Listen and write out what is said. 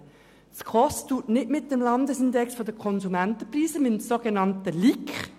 Die SKOS arbeitet nicht mit dem Landesindex der Konsumentenpreise, mit dem so genannten LIK.